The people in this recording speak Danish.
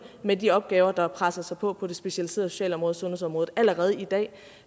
med de opgaver der presser sig på på det specialiserede socialområde og sundhedsområdet allerede i dag